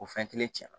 O fɛn kelen